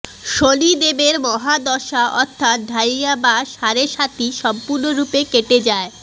শনিদেবের মহাদশা অর্থাৎ ঢাইয়া বা সাড়ে সাতি সম্পূর্ণরূপে কেটে যায়